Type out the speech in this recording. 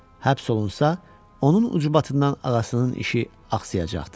Həbs olunsa, onun ucbatından ağasının işi axsayacaqdı.